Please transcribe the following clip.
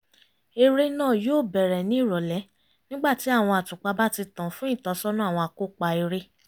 eré náà yóò bẹ̀rẹ̀ ní ìrọ̀lẹ́ nígbà tí àwọn àtùpà báti tàn fún ìtọ́sọ́nà àwọn akópa eré